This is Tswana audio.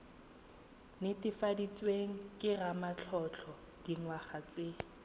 netefaditsweng ke ramatlotlo dingwaga tse